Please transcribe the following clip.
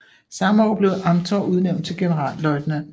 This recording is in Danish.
Samme år blev Amthor udnævnt til generalløjtnant